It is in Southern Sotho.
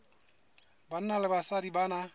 banna le basadi ba na